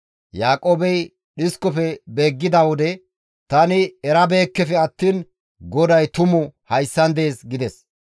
Yaaqoobey dhiskofe beeggidi, «Tani erabeekkefe attiin GODAY tumu hayssan dees» gides.